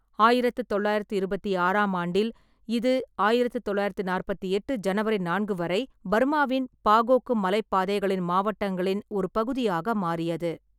ஆயிரத்து தொள்ளாயிரத்தி இருபத்தி ஆறாம் ஆண்டில், இது ஆயிரத்து தொள்ளாயிரத்தி நாற்பத்தி எட்டு ஜனவரி நான்கு வரை பர்மாவின் பாகோக்கு மலைப் பாதைகளின் மாவட்டங்களின் ஒரு பகுதியாக மாறியது.